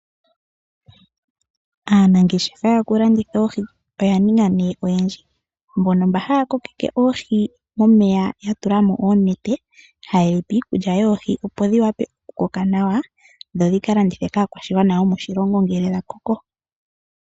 Aanangeshefa yokulanditha oohi oya ninga nee oyendji mbono mba haya kokeke oohi momeya yatulamo oonete, haye dhipe iikulya yoohi opo dhiwape oku koka nawa dho dhialandithwe kaakwashigwana ngele dhakoko.